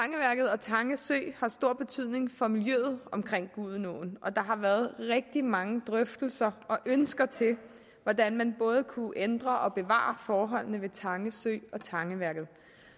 og tange sø har stor betydning for miljøet omkring gudenåen og der har været rigtig mange drøftelser og ønsker til hvordan man både kunne ændre og bevare forholdene ved tange sø og tangeværket